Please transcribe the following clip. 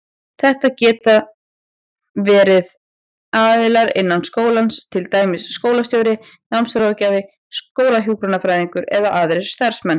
Þetta geta verið aðilar innan skólans, til dæmis skólastjóri, námsráðgjafi, skólahjúkrunarfræðingur eða aðrir starfsmenn.